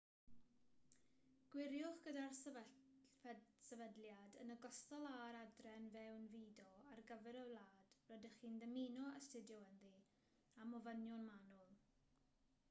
gwiriwch gyda'r sefydliad yn ogystal â'r adran fewnfudo ar gyfer y wlad rydych chi'n dymuno astudio ynddi am ofynion manwl